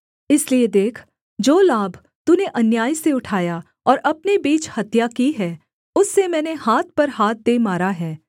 इसलिए देख जो लाभ तूने अन्याय से उठाया और अपने बीच हत्या की है उससे मैंने हाथ पर हाथ दे मारा है